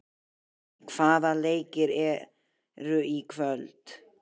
Emmý, hvaða leikir eru í kvöld?